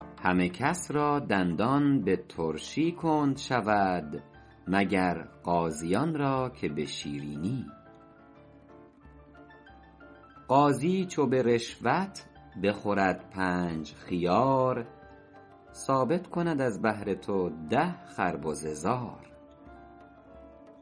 همه کس را دندان به ترشی کند شود مگر قاضیان را که به شیرینی قاضی چو به رشوت بخورد پنج خیار ثابت کند از بهر تو ده خربزه زار